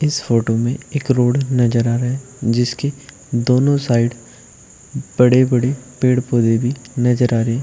इस फोटो में एक रोड नजर आ रहा है जिसके दोनों साइड बड़े बड़े पेड़ पौधे भी नजर आ रहे हैं।